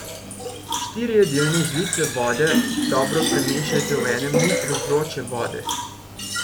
Štiri jedilne žlice vode dobro premešajte v enem litru vroče vode.